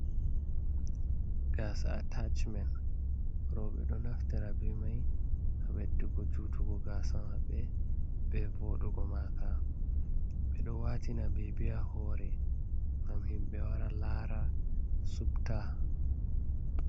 gasa a tachi men, robe do naftira be mai ha beddugo, jutugo gasa mabbe, be vodugo maka, bedo watina bebi ha hore ngam himbe wara lara ,subta.